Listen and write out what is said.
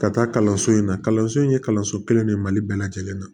Ka taa kalanso in na kalanso in ye kalanso kelen de ye mali bɛɛ lajɛlen na